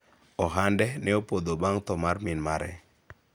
ohande ne opodho bang' tho mar min mare